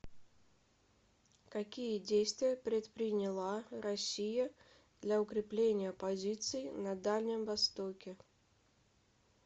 какие действия предприняла россия для укрепления позиций на дальнем востоке